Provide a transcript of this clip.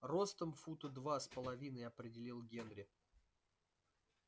ростом фута два с половиной определил генри